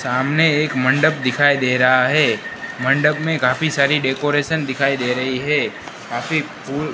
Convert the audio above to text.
सामने एक मंडप दिखाई दे रहा है मंडप में काफी सारी डेकोरेशन दिखाई दे रही है काफी फूल--